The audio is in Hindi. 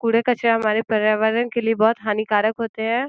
कूड़ा कचरा हमारे प्रयावर्ण के लिए बोहोत हानीकारक होते हैं।